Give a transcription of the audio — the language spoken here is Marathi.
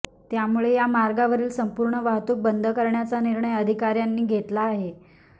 त्यामुळे या मार्गावरील संपूर्ण वाहतूक बंद करण्याचा निर्णय अधिकार्यांनी घेतला आहे